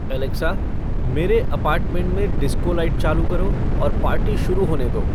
Alexa, मेरे apartment में disco light चालू करो और पार्टी शुरू होने दो